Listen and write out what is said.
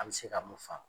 A bɛ se ka mun faamu